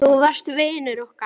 Þú varst vinur okkar.